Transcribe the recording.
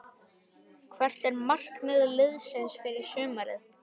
Hvert er markmið liðsins fyrir sumarið?